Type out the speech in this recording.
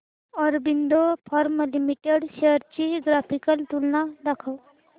Aurobindo pharma limited shares ची graphical तुलना दाखव